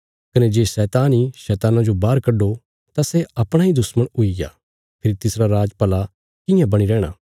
कने जे शैतान इ दुष्टात्मा जो बाहर कड्डो तां सै अपणा इ दुश्मण हुईग्या फेरी तिसरा राज भला कियां बणी रैहणा